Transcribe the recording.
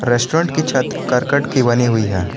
Restaurant की छत करकट की बनी हुई है।